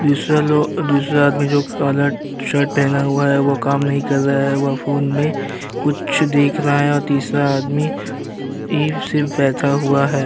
दूसरा लो दूसरा आदमी जो कि काला टी-शर्ट पहना हुआ है वो काम नहीं कर रहा है वह फोन में कुछ देख रहा है और तीसरा आदमी ऐं बि सिर्फ बैठा हुआ है।